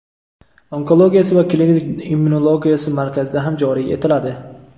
onkologiyasi va klinik immunologiyasi markazida ham joriy etiladi.